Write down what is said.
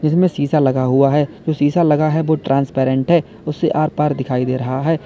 इसमें शीशा लगा हुआ है जो शीशा लगा है वो ट्रांसपेरेंट है उससे आर पार दिखाई दे रहा है।